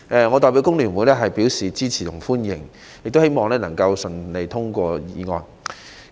我代表香港工會聯合會表示支持及歡迎，亦希望《條例草案》能夠順利通過。